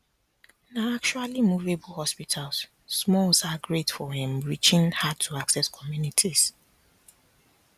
na actually movable hospital smalls are great for um reaching hardtoaccess communities